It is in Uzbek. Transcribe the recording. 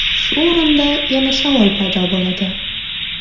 Shu o‘rinda yana savol paydo bo‘ladi.